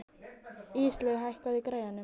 Íslaug, hækkaðu í græjunum.